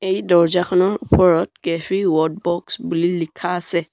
এই দৰ্জাখনৰ ওপৰত কেফে ৱডবক্স বুলি লিখা আছে।